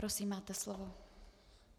Prosím, máte slovo.